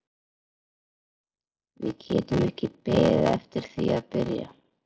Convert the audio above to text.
Við getum ekki beðið eftir því að byrja.